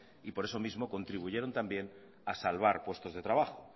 y por eso mismo contribuyeron también a salvar puestos de trabajo